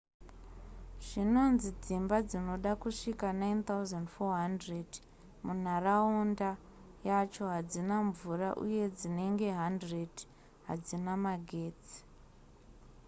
zvinonzi dzimba dzinoda kusvika 9400 munharaunda yacho hadzina mvura uye dzinenge 100 hadzina magetsi